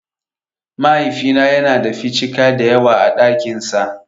Mahaifina yana da 'ficika' dayawa a ɗakin sa.